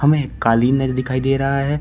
हमें एक कालीनर दिखाई दे रहा है।